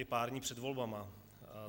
Je pár dní před volbami.